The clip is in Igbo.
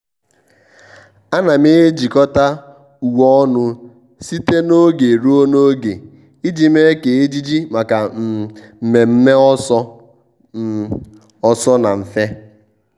à nà m ejikọ́ta uwe ọnụ site n’ógè ruo n’ógè iji mee kà ejiji màkà um mmèmme ọ́sọ́ um ọ́sọ́ na mfe.